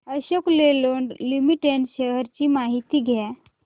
Ashok Leyland limited shares ची माहिती द्या